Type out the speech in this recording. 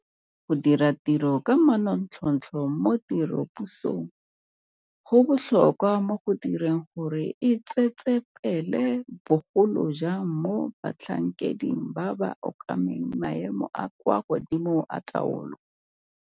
Go dira tiro ka manontlhotlho mo tirelopusong go botlhokwa mo go direng gore e tsetsepele, bogolo jang mo batlhankeding ba ba okameng maemo a a kwa godimo a taolo.